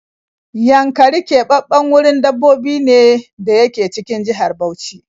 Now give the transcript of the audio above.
Yankari keɓaɓɓen wurin dabbobi ne da yake cikin jihar Bauchi